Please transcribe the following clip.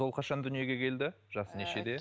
ол қашан дүниеге келді жасы нешеде